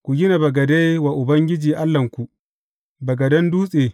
Ku gina bagade wa Ubangiji Allahnku, bagaden dutse.